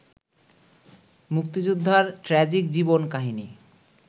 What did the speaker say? মুক্তিযোদ্ধার ট্র্যাজিক জীবন-কাহিনি